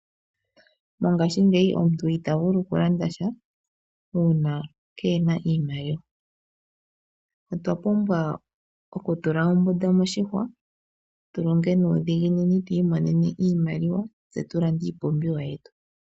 Mongaashi ngeyi omuntu itavulu okulanda sha uuna kena iimaliwa. Otwa pumbwa okutula ombunda moshihwa tulonge nuudhiginini twi imonene iimaliwa tse tulande iipumbiwa yetu.